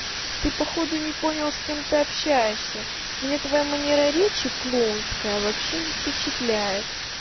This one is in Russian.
ты походу не понял с кем ты общаешься мне твоя манера речи клоунская вообще не впечатляет